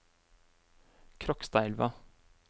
Krokstadelva